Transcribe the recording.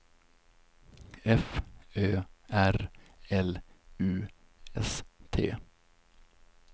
F Ö R L U S T